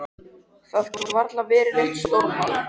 Það gat varla verið neitt stórmál.